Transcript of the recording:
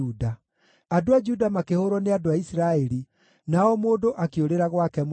Andũ a Juda makĩhũũrwo nĩ andũ a Isiraeli, na o mũndũ akĩũrĩra gwake mũciĩ.